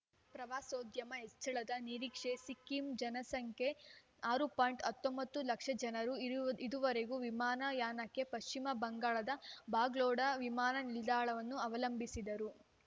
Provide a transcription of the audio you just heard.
ಪ್ರವಾಸೋದ್ಯಮ ಹೆಚ್ಚಳದ ನಿರೀಕ್ಷೆ ಸಿಕ್ಕಿಂನ ಜನಸಂಖ್ಯೆ ಆರು ಪಾಯಿಂಟ್ ಹತ್ತೊಂಬತ್ತು ಲಕ್ಷ ಜನರು ಇದುವರೆಗೆ ವಿಮಾನ ಯಾನಕ್ಕೆ ಪಶ್ಚಿಮ ಬಂಗಾಳದ ಬಾಗ್ಡೋಗ್ರ ವಿಮಾನ ನಿಲ್ದಾಣವನ್ನು ಅವಲಂಬಿಸಿದ್ದರು